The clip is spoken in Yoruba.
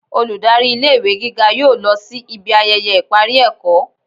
olùdarí ilé ìwé gígá yóò lọ si ibi ayẹyẹ ipari ẹkọ